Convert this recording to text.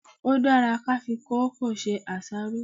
Ó dára kí á fi kòókòó ṣe àṣáró.